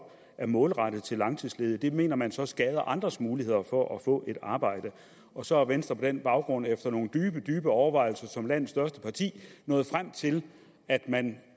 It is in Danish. er målrettet til langtidsledige det mener man så skader andres muligheder for at få et arbejde og så er venstre på den baggrund efter nogle dybe dybe overvejelser som landets største parti nået frem til at man